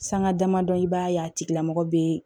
Sanga damadɔ i b'a ye a tigilamɔgɔ be